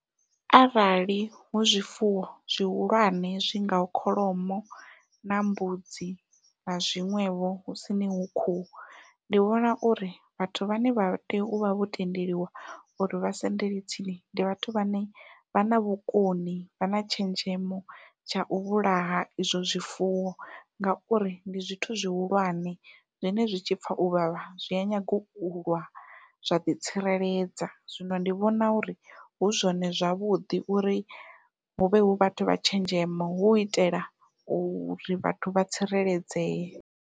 Arali hu zwifuwo zwihulwane zwi ngaho kholomo na mbudzi na zwiṅwevho husini hu khuhu. Ndi vhona uri vhathu vhane vha tea u vha vho tendeliwa uri vha sendele tsini ndi vhathu vhane vha na vhukoni vha na tshenzhemo tshau vhulaha izwo zwifuwo ngauri ndi zwithu zwihulwane zwine zwi tshipfha u vhavha zwi a nyanga ulwa zwa ḓitsireledza. Zwino ndi vhona uri hu zwone zwavhuḓi uri huvhe hu vhathu vha tshenzhemo hu itela uri vhathu vha tsireledzee.